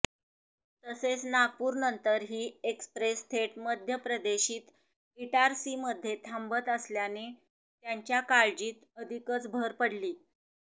तसेच नागपूरनंतर ही एक्सप्रेस थेट मध्यप्रदेशीत इटारसीमध्ये थांबत असल्याने त्यांच्या काळजीत अधिकच भर पडली